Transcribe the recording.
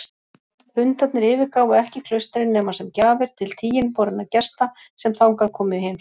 Hundarnir yfirgáfu ekki klaustrin nema sem gjafir til tiginborinna gesta sem þangað komu í heimsókn.